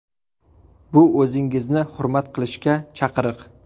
Bu o‘zingizni hurmat qilishga chaqiriq!